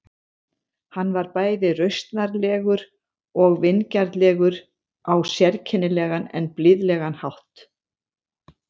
Hann var bæði rausnarlegur og vingjarnlegur á sérkennilegan en blíðlegan hátt.